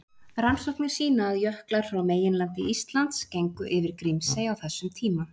Rannsóknir sýna að jöklar frá meginlandi Íslands gengu yfir Grímsey á þessum tíma.